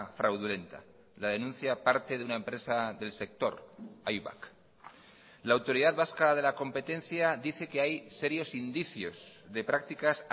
fraudulenta la denuncia parte de una empresa del sector aibak la autoridad vasca de la competencia dice que hay serios indicios de prácticas